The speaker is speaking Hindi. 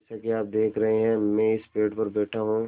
जैसा कि आप देख रहे हैं मैं इस पेड़ पर बैठा हूँ